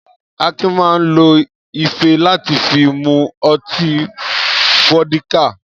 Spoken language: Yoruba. Akin máa ń lo ife láti fi mu ọtí fódíkà.